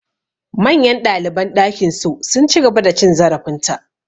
Manyan ɗaliban ɗakin su, sun ci gaba da cin zarafin ta.